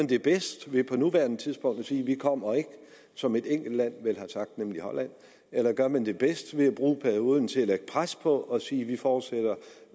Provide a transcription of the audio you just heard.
det bedst ved på nuværende tidspunkt at sige at vi ikke kommer som et enkelt land vel har sagt nemlig holland eller gør man det bedst ved at bruge perioden til at lægge pres på og sige at vi forudsætter